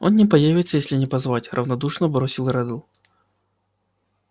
он не появится если не позвать равнодушно бросил реддл